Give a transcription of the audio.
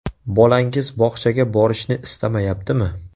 Bolangiz bog‘chaga borishni istamayaptimi?